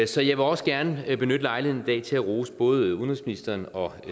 så jeg vil også gerne benytte lejligheden i dag til at rose både udenrigsministeren og